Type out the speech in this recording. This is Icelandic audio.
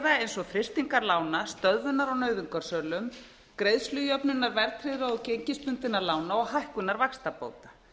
eins og frystingar lána stöðvunar á nauðungarsölum greiðslujöfnunar verðtryggðra og gengisbundinna lána og hækkunar vaxtabóta